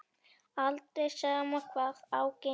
Aldrei, sama hvað á gengur.